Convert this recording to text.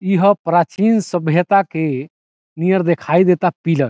इ ह प्राचीन सभ्यता के नियर दिखाई देता पिलर ।